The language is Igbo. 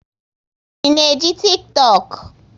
Ị na eji Tiktọk?